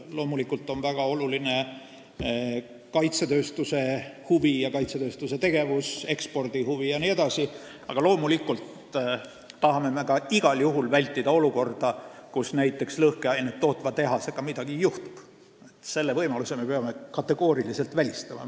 Loomulikult on väga olulised kaitsetööstuse huvid, sh ekspordihuvi, ja tegevus, aga me tahame ka igal juhul vältida olukorda, kus midagi juhtub näiteks lõhkeainet tootva tehasega – sellise võimaluse me peame kategooriliselt välistama.